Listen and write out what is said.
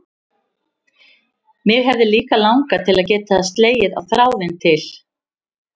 Mig hefði líka langað til að geta slegið á þráðinn til